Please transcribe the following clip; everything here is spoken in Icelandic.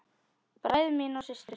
Bræður mínir og systur.